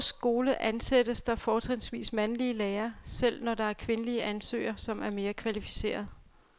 I vores skole ansættes der fortrinsvis mandlige lærere, selv når der er kvindelige ansøgere, som er mere kvalificerede.